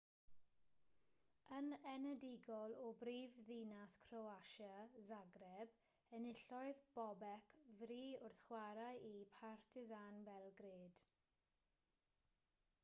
yn enedigol o brifddinas croatia zagreb enillodd bobek fri wrth chwarae i partizan belgrade